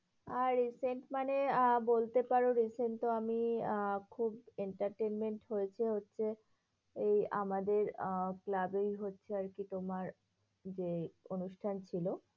আহ recent মানে আহ বলতে পারো, recent তো আমি আহ খুব entertainment হয়েছে হচ্ছে, এই আমাদের আহ ক্লাবেই হচ্ছে আরকি তোমার যে অনুষ্ঠান ছিল।